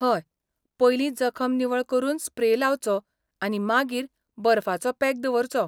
हय, पयलीं जखम निवळ करून स्प्रे लावचो आनी मागीर बर्फाचो पॅक दवरचो.